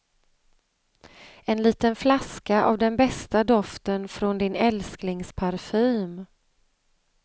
En liten flaska av den bästa doften från din älsklingsparfym.